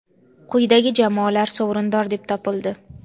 quyidagi jamoalar sovrindor deb topildi:.